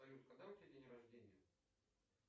салют когда у тебя день рождения